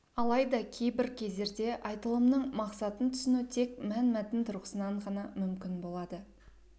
алайда кейбір кездерде айтылымның мақсатын түсіну тек мәнмәтін тұрғысынан ғана мүмкін болады